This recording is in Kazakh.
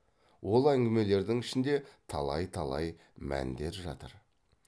ол әңгімелердің ішінде талай талай мәндер жатыр